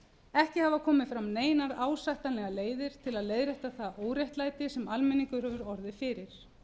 ekki hafa komið fram neinar ásættanlegar leiðir til að leiðrétta það óréttlæti sem almenningur hefur orðið fyrir